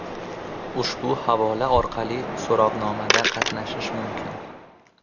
Ushbu havola orqali so‘rovnomada qatnashish mumkin.